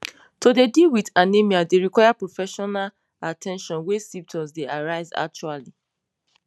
to dey deal wit anemia dey require professional at ten tion wen symptoms dey arise actually